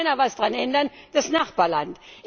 Es kann nur einer etwas daran ändern das Nachbarland.